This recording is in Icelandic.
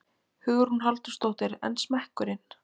Hugrún Halldórsdóttir: En smekkurinn?